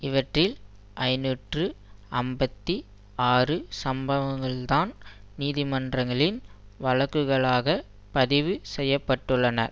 இவற்றில் ஐநூற்று ஐம்பத்தி ஆறு சம்பவங்கள்தான் நீதிமன்றங்களில் வழக்குகளாக பதிவு செய்ய பட்டுள்ளன